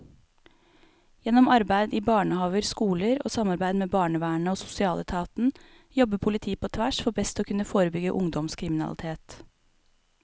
Gjennom arbeid i barnehaver, skoler og samarbeid med barnevernet og sosialetaten jobber politiet på tvers for best å kunne forebygge ungdomskriminalitet.